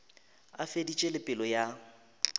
a feditše le pelo ya